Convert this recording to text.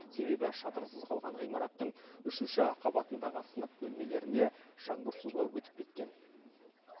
себебі шатырсыз қалған ғимараттың үшінші қабатындағы сынып бөлмелеріне жаңбыр суы өтіп кеткен